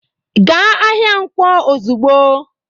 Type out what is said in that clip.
Gaa ahịa Nkwo ozugbo!